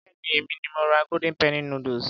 Béèni èmi ni mo ra golden penny noodles.